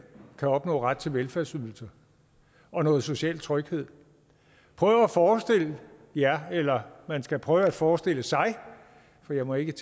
kan opnå ret til velfærdsydelser og noget social tryghed prøv at forestille jer eller man skal prøve at forestille sig for jeg må ikke